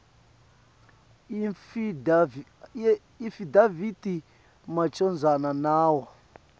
iafidavithi macondzana nawo